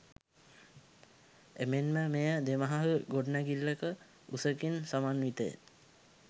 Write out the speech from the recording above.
එමෙන්ම මෙය දෙමහල් ගොඩනැඟිල්ලක උසකින් සමන්විතය